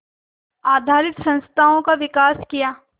आधारित संस्थाओं का विकास किया